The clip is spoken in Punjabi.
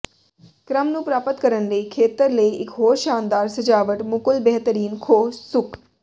ਕ੍ਰਮ ਨੂੰ ਪ੍ਰਾਪਤ ਕਰਨ ਲਈ ਖੇਤਰ ਲਈ ਇੱਕ ਹੋਰ ਸ਼ਾਨਦਾਰ ਸਜਾਵਟ ਮੁਕੁਲ ਬੇਹਤਰੀਨ ਖੋਹ ਸੁੱਕ